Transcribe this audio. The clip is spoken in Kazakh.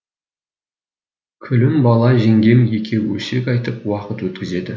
күлімбала жеңгем екеуі өсек айтып уақыт өткізеді